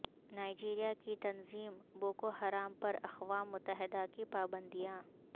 Nigeria کی تنظیم Boko Haram پراقوام متحدہ کی پابندیاں